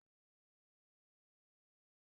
Ìgbéyàwó máa wáyé lẹ́yìn ìgbà tí àwọn ẹbí méjèjì bá fọwọ́ si